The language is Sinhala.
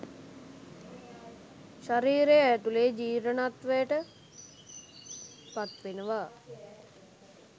ශරීරය ඇතුලෙ ජීර්ණත්වයට පත්වෙනවා